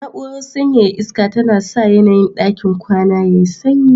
Na'urar sanyaya iska tana sa yanayin ɗakin kwana yayi sanyi